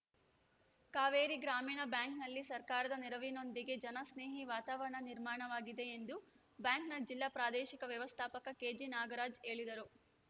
ಕಾವೇರಿ ಗ್ರಾಮೀಣ ಬ್ಯಾಂಕ್‌ನಲ್ಲಿ ಸರ್ಕಾರದ ನೆರವಿನೊಂದಿಗೆ ಜನ ಸ್ನೇಹಿ ವಾತಾವರಣ ನಿರ್ಮಾಣವಾಗಿದೆ ಎಂದು ಬ್ಯಾಂಕ್‌ನ ಜಿಲ್ಲಾ ಪ್ರಾದೇಶಿಕ ವ್ಯವಸ್ಥಾಪಕ ಕೆಜಿನಾಗರಾಜ್‌ ಹೇಳಿದರು